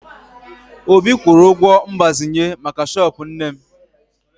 Obi kwụrụ ụgwọ mgbazinye maka shọọpụ nne m